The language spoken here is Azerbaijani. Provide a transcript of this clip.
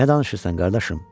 Nə danışırsan qardaşım?